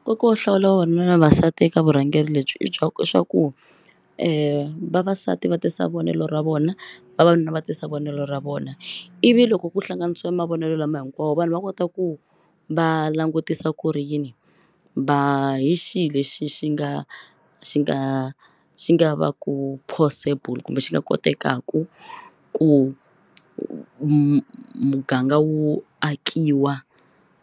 Nkoka wo hlawula vavanuna na vavasati eka vurhangeri lebyi i i swa ku vavasati va tisa vonelo ra vona vavanuna va tisa vonelo ra vona ivi loko ku hlanganisa mavonelo lama hinkwawo vanhu va kota ku va langutisa ku ri yini va hi xihi lexi xi nga xi nga xi nga va ku possible kumbe xi nga kotekaka ku muganga wu akiwa